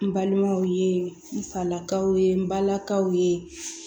N balimaw ye n falakaw ye n balakaw ye